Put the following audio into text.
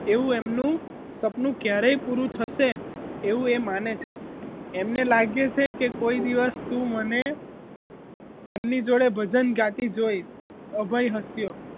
એવું એમનું સપનું ક્યારેય પૂરું થશે એવું એ માને છે એમને લાગે છે કે કોઈ દિવસ તું મને એમની જોડે ભજન ગાતી જોઈશ અભય હસ્યો